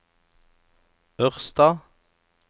Ørsta